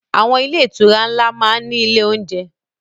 Àwọn ilé-ìtura ńlá máa ń ní ilé-oúnjẹ..